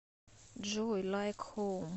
джой лайк хоум